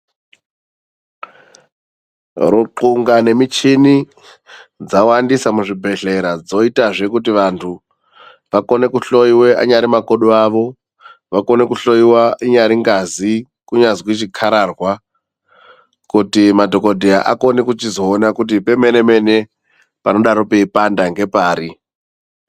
Ruthlunga ngemishini dzawandisa muzvibhedhlera. Dzoitazve kuti vantu vakone kuhloiwa anyari makodo awo akone kuhloiwa, inyari ngazi, chinyazi chikararwa kuti madhogodheya akone kuzoona kuti pemene-mene pangadai peipanda ngepari.